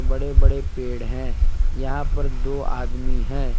बड़े बड़े पेड़ हैं यहां पर दो आदमी है।